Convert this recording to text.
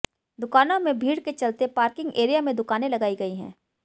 दुकानों में भीड़ के चलते पार्किंग एरिया में दुकानें लगाई गई हैं